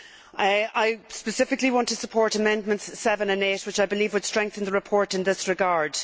I specifically want to support Amendments 7 and 8, which I believe would strengthen the report in this regard.